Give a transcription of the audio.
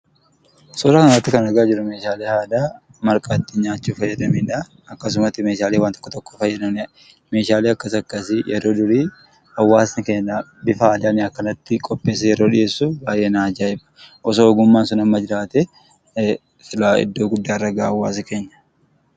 Suuraa nuti argaa jirruu, meeshaalee aadaa marqaa ittin nyachuuf fayyadaniidha. Akkasuma illee meeshaalee waan tokko tokko fayyadaniidha. Meeshaalee akkas akkasii ,yeroo durii bifa aadaan akkasitti qopheessee yeroo dhiyeessuu baay'ee na ajaa'iba. Osoo ogummaan sun amma jiraatee silaa iddoo guddaa irraa gaha hawaasni keenya.